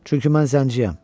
Çünki mən zəngiyəm.